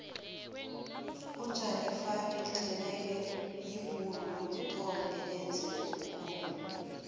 ujanifani xebekhe yibhuru lokuthoma elenza umkhumbi